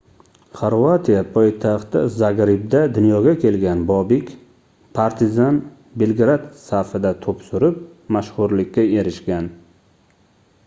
xorvatiya poytaxti zagrebda dunyoga kelgan bobek partizan belgrad safida toʻp surib mashhurlikka erishgan